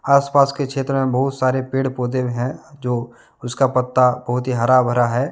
आसपास के क्षेत्र में बहुत सारे पेड़ पौधे हैं जो उसका पत्ता बहुत ही हरा भरा है।